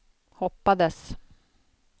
hoppades